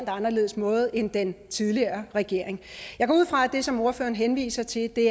anderledes måde end den tidligere regering jeg går ud fra at det som ordføreren henviser til er det